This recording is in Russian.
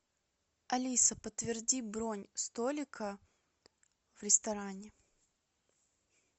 алиса подтверди бронь столика в ресторане